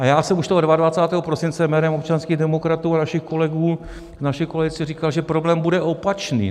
A já jsem už toho 22. prosince jménem občanských demokratů a našich kolegů v naší koalici říkal, že problém bude opačný.